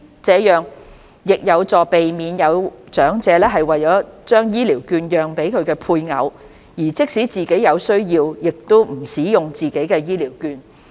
這樣亦有助避免有長者為了將醫療券讓予配偶，而即使自己有需要也不使用自己的醫療券。